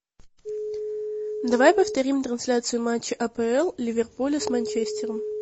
давай повторим трансляцию матча апл ливерпуля с манчестером